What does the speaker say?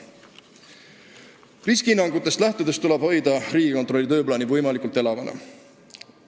Riskihinnangutest lähtudes peab hoidma Riigikontrolli tööplaani võimalikult elavana.